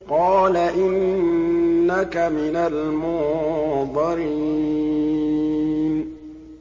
قَالَ إِنَّكَ مِنَ الْمُنظَرِينَ